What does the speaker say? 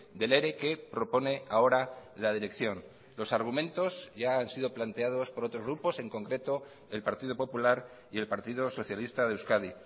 del ere que propone ahora la dirección los argumentos ya han sido planteados por otros grupos en concreto el partido popular y el partido socialista de euskadi